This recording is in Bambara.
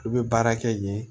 Olu bɛ baara kɛ yen